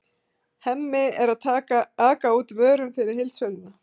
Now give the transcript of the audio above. Hemmi er að aka út vörum fyrir heildsöluna.